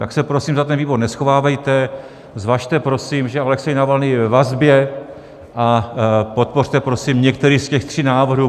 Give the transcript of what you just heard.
Tak se prosím za ten výbor neschovávejte, zvažte prosím, že Alexej Navalnyj je ve vazbě, a podpořte prosím některý z těch tří návrhů.